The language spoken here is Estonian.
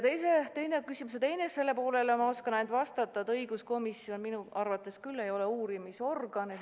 Küsimuse teisele poolele ma oskan ainult vastata, et õiguskomisjon minu arvates ei ole uurimisorgan.